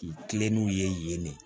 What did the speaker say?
Kilenlenw ye yen ne